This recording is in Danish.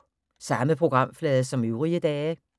Samme programflade som øvrige dage